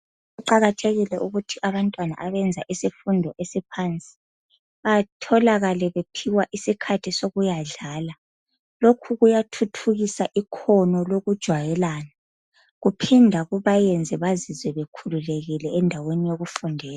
Kuqakathekile ukuthi abantwana abenza isifundo esiphansi batholakale bephiwa isikhathi sokuyadlala lokhu kuyathuthukisa ikhono lokujwayelana kuphinde kubayenze bezizwe bekhululekile endaweni yokufundela .